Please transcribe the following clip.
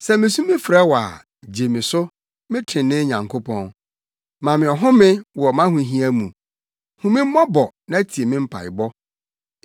Sɛ misu frɛ wo a, gye me so, me trenee Nyankopɔn. Ma me ɔhome wɔ mʼahohia mu; hu me mmɔbɔ na tie me mpaebɔ.